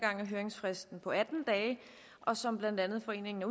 gang er høringsfristen på atten dage og som blandt andet foreningen